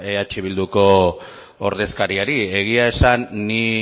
eh bilduko ordezkariari egia esan ni